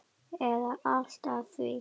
eða allt að því.